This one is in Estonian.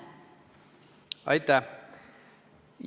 Aitäh!